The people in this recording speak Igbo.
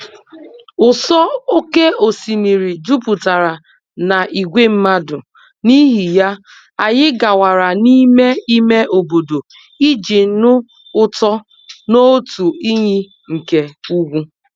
ụsọ oké osimiri jupụtara na ìgwè mmadụ, n'ihi ya, anyị gawara n'ime ime obodo iji nụ ụtọ n'otu iyi nke ugwu.